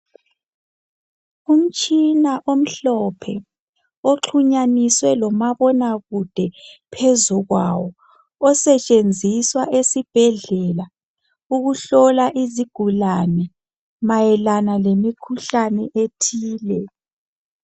Umtshina omhlophe oxhunyaniswe lomabonakude phezu kwawo osetshenziswa esibhedlela ukuhlola izigulane mayelana lemikhuhlane ethile.